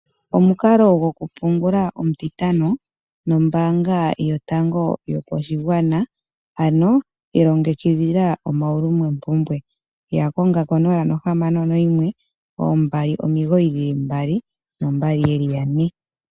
Omukalo gokupungula omutintano nombaanga yotango yopashigwana, ano ilongekidhila omaulumopumbwe, ya kongo ko0612992222.